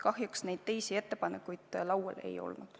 Kahjuks teisi ettepanekuid laual ei ole olnud.